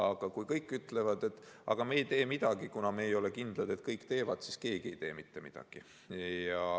Aga kui kõik ütlevad, et me ei tee midagi, kuna me ei ole kindlad, et kõik teevad, siis keegi ei tee mitte midagi.